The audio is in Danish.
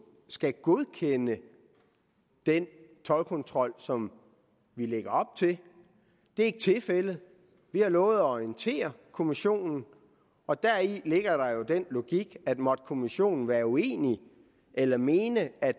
skal godkende den toldkontrol som vi lægger op til det er ikke tilfældet vi har lovet at orientere kommissionen og deri ligger jo den logik at måtte kommissionen være uenig eller mene at